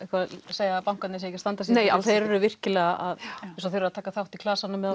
segja að bankarnir séu ekki að standa sig því þeir eru virkilega að þeir eru að taka þátt í klasanum með